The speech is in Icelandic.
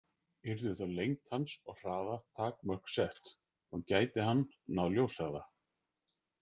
Yrðu þá lengd hans og hraða takmörk sett, og gæti hann náð ljóshraða?